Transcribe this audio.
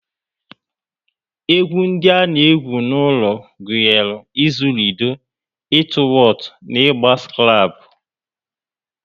Egwu ndi a na egwu n'ulo gụnyere izu lido, ịtụ wotu na ịgba skrable